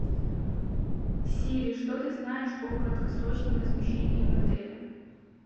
сири что ты знаешь о краткосрочном размещении в отеле